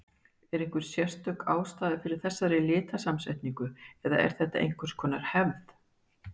Er einhver sérstök ástæða fyrir þessari litasamsetningu, eða er þetta einhvers konar hefð?